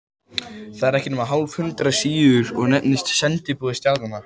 Það er ekki nema hálft hundrað síður og nefnist Sendiboði stjarnanna.